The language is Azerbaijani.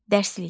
Dərslik.